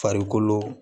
Farikolo